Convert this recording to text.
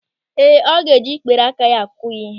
Ee, ọ ga-eji ikpere aka akụ ya ịhe.